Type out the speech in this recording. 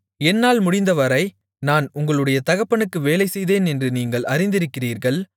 என்னால் முடிந்தவரை நான் உங்களுடைய தகப்பனுக்கு வேலை செய்தேன் என்று நீங்கள் அறிந்திருக்கிறீர்கள்